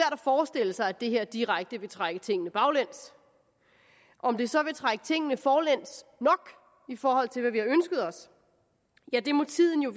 forestille sig at det her direkte vil trække tingene baglæns om det så vil trække tingene forlæns nok i forhold til hvad vi har ønsket os må tiden jo